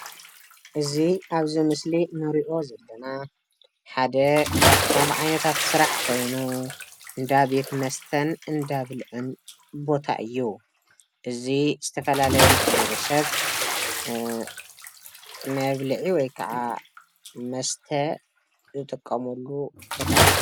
እዚ አብዚ ምስሊ ንሪኦ ዘለና ሓደ ካብቶም ዓይነታት ስራሕ ኾይኑ እንዳ ቤት መስተን እንዳብልዕን ቦታ እዩ። እዚ ዝተፈላለዩ ማሕበረስብ እ መብልዒ ወይ ከዓ መስተ ዝጥቀመሉ ቦታ እዩ።